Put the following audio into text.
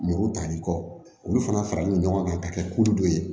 Muru tali kɔ olu fana faralen no ɲɔgɔn kan ka kɛ kulu dɔ ye